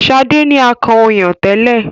Sade ní akàn ọyàn tẹlẹ.